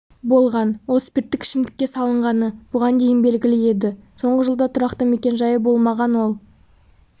болған ол спирттік ішімдікке салынғаны бұған дейін белгілі еді соңғы жылда тұрақты мекенжайы болмаған ол